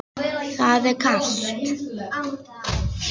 Það er kalt.